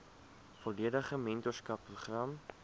volledige mentorskap program